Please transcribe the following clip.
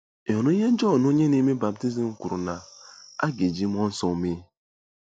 Ị̀ hụrụ ihe Jọn Onye Na-eme Baptizim kwuru na a ga-eji mmụọ nsọ mee?